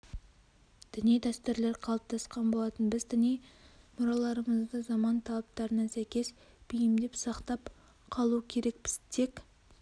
діни дәстүрлер қалыптасқан болатын біз діни мұраларымызды заман талаптарына сәйкес бейімдеп сақтап қалу керекпіз тек